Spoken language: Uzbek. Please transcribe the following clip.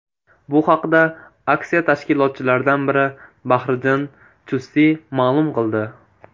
Bu haqda aksiya tashkilotchilaridan biri Bahriddin Chustiy ma’lum qildi .